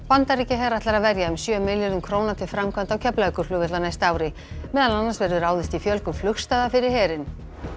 Bandaríkjaher ætlar að verja um sjö milljörðum króna til framkvæmda á Keflavíkurflugvelli á næsta ári meðal annars verður ráðist í fjölgun fyrir herinn